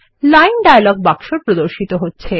line dialogue বাক্স প্রদর্শিত হচ্ছে